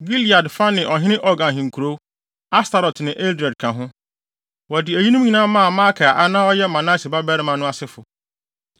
Gilead fa ne ɔhene Og ahenkurow, Astarot ne Edrei ka ho. Wɔde eyinom nyinaa maa Makir a na ɔyɛ Manase babarima no asefo.